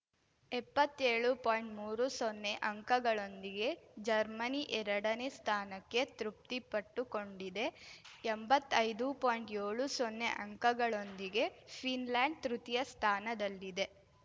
ಎಪ್ಪತ್ಏಳು ಪಾಯಿಂಟ್ಮೂರು ಸೊನ್ನೆ ಅಂಕಗಳೊಂದಿಗೆ ಜರ್ಮನಿ ಎರಡನೇ ಸ್ಥಾನಕ್ಕೆ ತೃಪ್ತಿ ಪಟ್ಟುಕೊಂಡಿದೆ ಎಂಬತ್ತೈದು ಪಾಯಿಂಟ್ಯೋಳು ಸೊನ್ನೆ ಅಂಕಗಳೊಂದಿಗೆ ಫಿನ್‌ಲೆಂಡ್‌ ತೃತೀಯ ಸ್ಥಾನದಲ್ಲಿದೆ